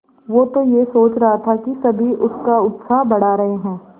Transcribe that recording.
वो तो यह सोच रहा था कि सभी उसका उत्साह बढ़ा रहे हैं